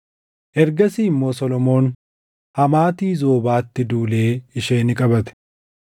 Ergasii immoo Solomoon Hamaati Zoobaatti duulee ishee ni qabate.